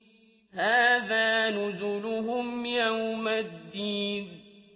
هَٰذَا نُزُلُهُمْ يَوْمَ الدِّينِ